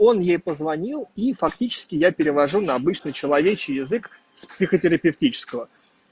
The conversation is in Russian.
он ей позвонил и фактически я перевожу на обычный человечий язык с психотерапевтического